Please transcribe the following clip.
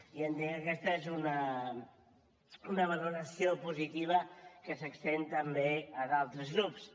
i entenc que aquesta és una valoració positiva que s’estén també a d’altres grups